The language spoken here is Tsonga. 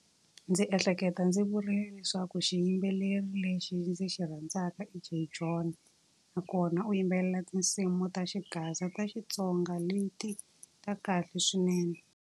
Ndzi ehleketa ndzi vurile leswaku xiyimbeleri lexi ndzi xi rhandzaka i Jay John. Nakona u yimbelela tinsimu ta xigaza ta Xitsonga, leti ta kahle swinene.